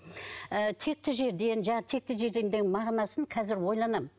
ыыы текті жерден жаңағы текті жерден дегеннің мағынасын қазір ойланамын